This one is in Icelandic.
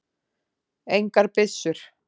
Engar byssur.